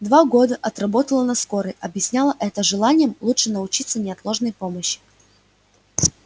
два года отработала на скорой объясняла это желанием лучше научиться неотложной помощи